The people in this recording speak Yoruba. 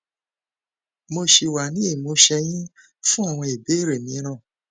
mo ṣì wà ní ìmúṣẹ yín fún àwọn ìbéèrè mìíràn